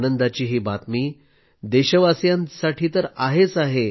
आनंदाची ही बातमी देशवासीयांसाठी तर आहेच आहे